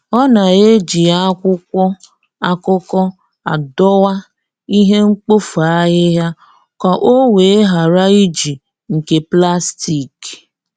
Ọ na-eji akwụkwọ akụkọ adowa ihe mkpofu ahịhịa ka o wee ghara iji nke plastik.